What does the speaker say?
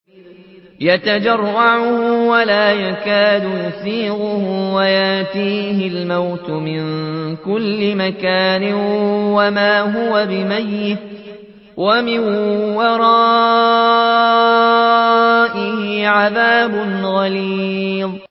يَتَجَرَّعُهُ وَلَا يَكَادُ يُسِيغُهُ وَيَأْتِيهِ الْمَوْتُ مِن كُلِّ مَكَانٍ وَمَا هُوَ بِمَيِّتٍ ۖ وَمِن وَرَائِهِ عَذَابٌ غَلِيظٌ